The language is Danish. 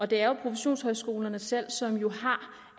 det er jo professionshøjskolerne selv som har